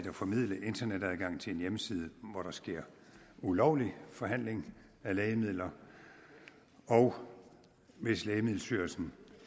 at formidle internetadgang til en hjemmeside hvor der sker ulovlig forhandling af lægemidler og hvis lægemiddelstyrelsen